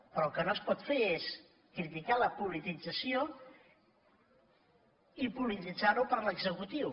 però el que no es pot fer és criticar la politització i polititzar ho per l’executiu